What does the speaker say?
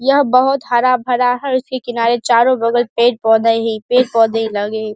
यह बहुत हरा-भरा है इसके किनारे चारो बगल पेड़-पौधा ही पेड़-पौधे लगे --